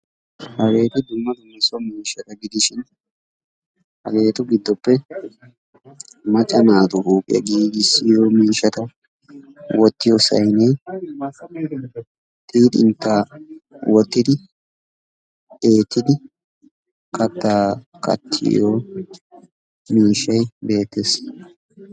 hageeti dumma dumma so miishshata gidishin hageetu giddoppe macca naatu huuphiya giigissiyoo miishshata wottiyoosayinne xiixxintaa wottidi eettidi kattaa kattiyo miishshay beettes.